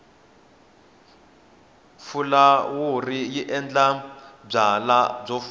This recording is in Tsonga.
fulawuri yi endla byalwa byi foma